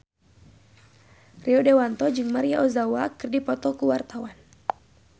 Rio Dewanto jeung Maria Ozawa keur dipoto ku wartawan